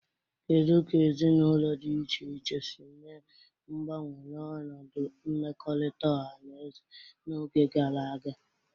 Kedu ka ezinụlọ di iche iche si mee mgbanwe n'ọnọdụ mmekọrịta ọha na eze n'oge gara aga?